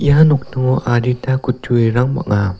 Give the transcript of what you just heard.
ia nokningo adita kutturirang bang·a.